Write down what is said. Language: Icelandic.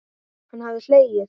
Hann hafði hlegið.